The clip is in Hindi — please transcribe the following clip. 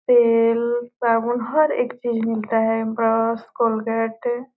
तेल साबुन हर एक चीज मिलता है ब्रस कोलगेट ।